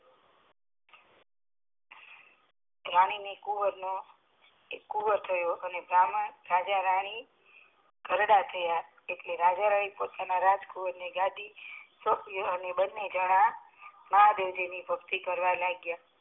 રાની ને એક કુંવર થયો રાજા રાની ઘરડા થયા એટલે રાજા એ પોતાના રાજકુંવરને ગાદી સોંપી અને બને જણા મહાદેવજી ની ભક્તિ કરવા લાગીયા